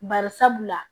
Bari sabula